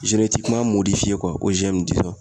ye